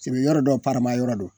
Siby yɔrɔ dɔw parima yɔrɔ don